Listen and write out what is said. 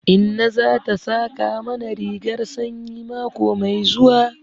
Inna za ta saƙa mana rigar sanyi mako mai zuwa.